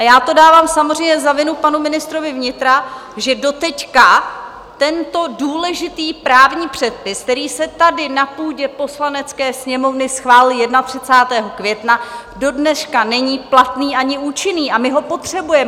A já to dávám samozřejmě za vinu panu ministrovi vnitra, že doteď tento důležitý právní předpis, který se tady na půdě Poslanecké sněmovny schválil 31. května, dodneška není platný ani účinný, a my ho potřebujeme.